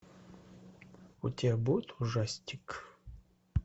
у тебя будет ужастик